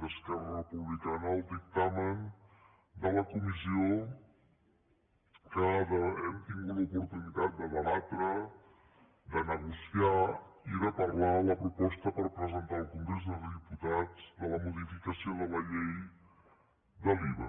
d’esquer·ra republicana al dictamen de la comissió que hem tingut l’oportunitat de debatre de negociar i de parlar la proposta per presentar al congrés dels diputats de la modificació de la llei de l’iva